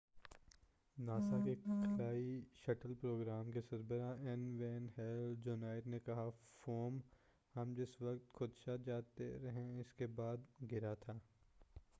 NASA کے خلائی shuttle programme کے سربراہ این وین ہیل جونیئر نے کہا فوم""ہم جس وقت خدشہ جتا رہے تھے"اسکے بعد گرا تھا۔